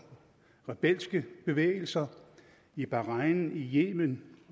rebelske bevægelser i bahrain i yemen